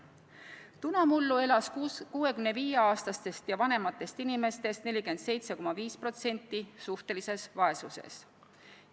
Tunamullu elas 65-aastastest ja vanematest inimestest 47,5% suhtelises vaesuses.